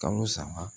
Kalo saba